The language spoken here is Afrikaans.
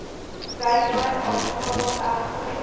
gateway aanvaar egter